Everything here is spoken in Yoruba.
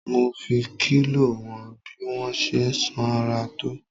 Mo fi kílò wọn bí mo ṣe sanra tó.